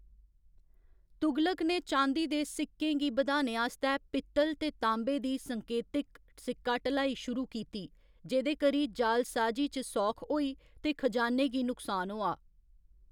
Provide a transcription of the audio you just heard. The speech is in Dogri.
तुगलक ने चाँदी दे सिक्कें गी बधाने आस्तै पित्तल ते ताँबे दी संकेतिक सिक्का ढलाई शुरू कीती, जेह्‌‌‌दे करी जालसाजी च सौख होई ते खजाने गी नुकसान होआ।